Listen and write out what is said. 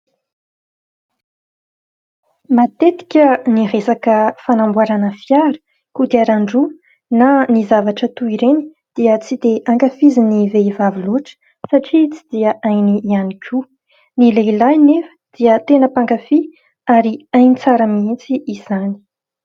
Matetika ny resaka fanamboarana fiara ,kodiaran-droa na ny zavatra toy ireny dia tsy dia ankafizin' ny vehivavy loatra satria tsy dia hainy ihany koa ; ny lehilahy nefa dia tena mpankafia ary hainy tsara mihitsy izany.